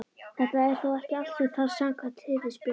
Þetta er þó ekki allt sem þarf samkvæmt Hirðisbréfinu.